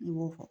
I b'o fɔ